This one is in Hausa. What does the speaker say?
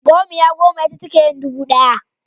Gomiya goma ita take yin dubu ɗaya.